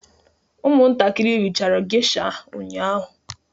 Ụmụntakịrị rie geisha ụnyahụ